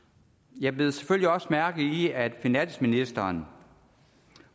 jeg bed selvfølgelig også mærke i at finansministeren